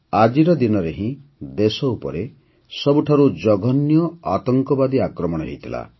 ଆଜିର ଦିନରେ ହିଁ ଦେଶ ଉପରେ ସବୁଠାରୁ ଜଘନ୍ୟ ଆତଙ୍କବାଦୀ ଆକ୍ରମଣ ହୋଇଥିଲା